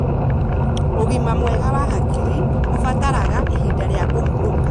Ugima mwega wa hakiri ũbataraga ihinda rĩa kũhurũka.